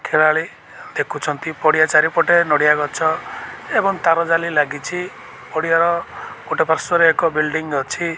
ଖେଳାଳି ଦେଖୁଛନ୍ତି ପଡ଼ିଆ ଚାରିପଟେ ନଡ଼ିଆ ଗଛ ଏବଂ ତାର ଜାଲି ଲାଗିଛି ପଡ଼ିଆ ଗୋଟେ ପାର୍ଶ୍ବରେ ଏକ ବିଲଡିଂ ଅଛି।